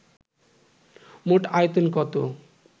মোট আয়তন কত